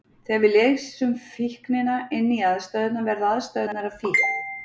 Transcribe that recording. Þegar við lesum fíknina inn í aðstæðurnar verða aðstæðurnar að fíkn.